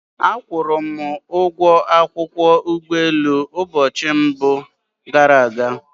A kwụrụ m ụgwọ akwụkwọ ụgbọelu ụbọchị mbụ gara aga